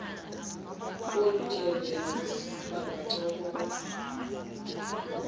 kolu tyelelo bangancokola